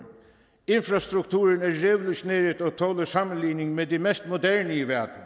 infrastrukturen er revolutioneret og tåler sammenligning med den mest moderne i verden